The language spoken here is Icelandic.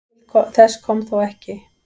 Til þess kom þó ekki.